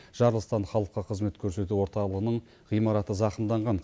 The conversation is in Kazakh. жарылыстан халыққа қызмет көрсету орталығының ғимараты зақымданған